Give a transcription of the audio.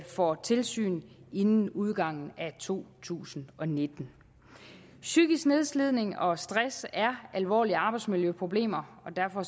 får tilsyn inden udgangen af to tusind og nitten psykisk nedslidning og stress er alvorlige arbejdsmiljøproblemer og derfor